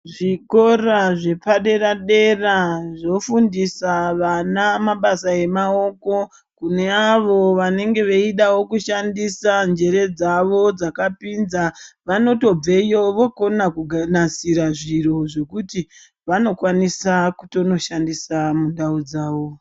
Zvikora zvepadera-dera zvofundisa vana mabasa emaoko, kune avo vanenge veidawo kushandisa njere dzavo dzakapinza vanotobveyo vokona kunasira zviro zvekuti vanokwanisa kutonoshandisa mundau dzavo.